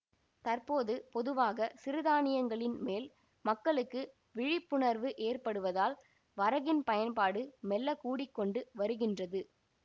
தற்போது பொதுவாக சிறுதானியங்களின் மேல் மக்களுக்கு விழிப்புணர்வு ஏற்படுவதால் வரகின் பயன்பாடு மெல்ல கூடிக்கொண்டு வருகின்றது